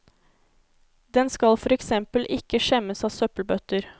Den skal for eksempel ikke skjemmes av søppelbøtter.